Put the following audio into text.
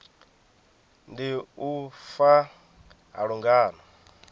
ndi u fa ha lungano